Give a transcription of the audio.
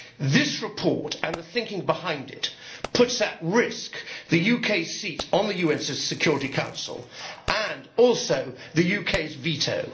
This report, and the thinking behind it, puts at risk the UK's seat on the UN Security Council and also the UK's veto.